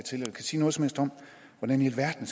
om hvordan i alverden